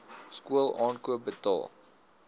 skool aankoop betaal